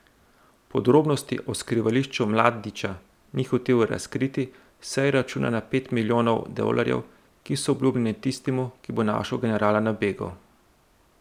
Podrobnosti o skrivališču Mladića ni hotel razkriti, saj računa na pet milijonov dolarjev, ki so obljubljeni tistemu, ki bo našel generala na begu.